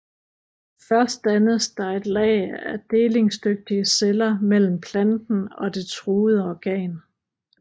Først dannes der et lag af delingsdygtige celler mellem planten og det truede organ